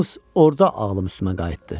Yalnız orda ağlım üstümə qayıtdı.